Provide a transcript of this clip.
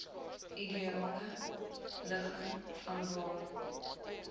ideale ligging vanwaar